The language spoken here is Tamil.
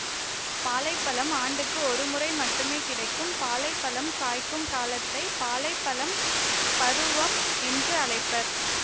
பாலை பழம் ஆண்டுக்கு ஒருமுறை மட்டுமே கிடைக்கும் பாலை பழம் காய்க்கும் காலத்தை பாலை பழம் பருவம் என்றும் அழைப்பர்